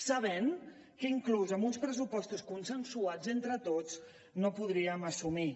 sabent que inclús amb uns pressupostos consensuats entre tots no ho podríem assumir